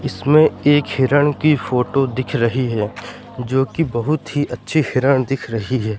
इसमें एक हिरण की फोटो दिख रही हैं जो की बहुत ही अच्छी हिरण दिख रही है।